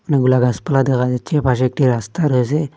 অনেকগুলা গাসপালা দেখা যাচ্ছে পাশে একটি রাস্তা রয়েসে।